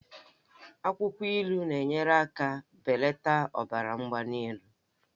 Akwụkwọ ilu na-enyere aka belata ọbara mgbali elu.